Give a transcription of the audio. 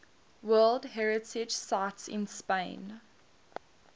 world heritage sites in spain